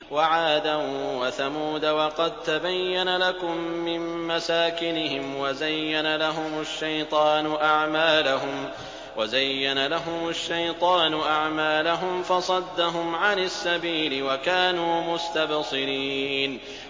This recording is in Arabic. وَعَادًا وَثَمُودَ وَقَد تَّبَيَّنَ لَكُم مِّن مَّسَاكِنِهِمْ ۖ وَزَيَّنَ لَهُمُ الشَّيْطَانُ أَعْمَالَهُمْ فَصَدَّهُمْ عَنِ السَّبِيلِ وَكَانُوا مُسْتَبْصِرِينَ